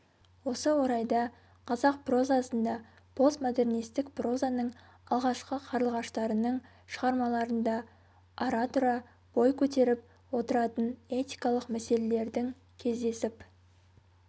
осы орайда қазақ прозасында постмодернистік прозаның алғашқы қарлығаштарының шығармаларында ара-тұра бой көтеріп отыратын этикалық мәселелердің кездесіп